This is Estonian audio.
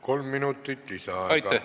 Kolm minutit lisaaega.